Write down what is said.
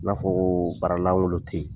N'a fɔ ko baara lankolon tɛ yen.